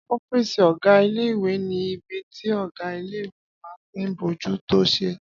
Ọ́fìsì ọgá ilé-ìwé ní ibi tí ọgá ilé-ìwé máa tí n bójú tó sẹ́